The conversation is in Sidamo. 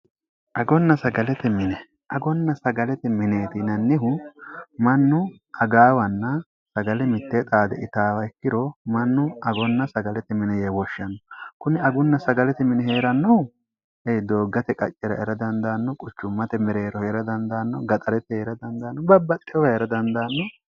agonna sagalete mineeti inannihu mannu agaawanna sagale mittee xaade itaawa ikkiro mannu agonna sagalete mini yee boshshanno kuni agunna sagalete mini hee'rannohu e dooggate qaccira era dandaanno quchummate mereerohu era dandaanno gaxarette eera dandaanno babbaxxeora era dandaanno